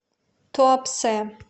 туапсе